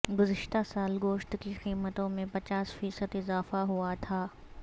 گزشتہ سال گوشت کی قیمتوں میں پچاس فیصد اضافہ ہوا تھا